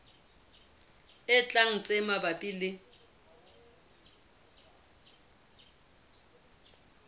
e tlang tse mabapi le